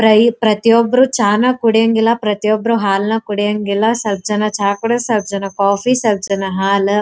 ಪ್ರೈ ಪ್ರತಿಯೊಬ್ಬರೂ ಚಾನ ಕುಡಿಯಂಗಿಲ್ಲ ಪ್ರತಿಯೊಬ್ಬರೂ ಹಾಲನ್ನ ಕುಡಿಯಂಗಿಲ್ಲ ಸ್ವಲ್ಪ ಜನ ಚಾ ಸ್ವಲ್ಪ ಜನ ಕಾಫೀ ಸ್ವಲ್ಪ ಜನ ಹಾಲು--